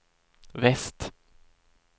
väst